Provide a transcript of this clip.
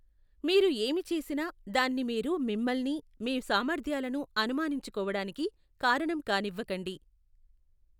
మీరు ఏమి చేసినా, దాన్ని మీరు మిమ్మల్ని, మీ సామర్థ్యాలను అనుమానించుకోవడానికి కారణం కానివ్వకండి.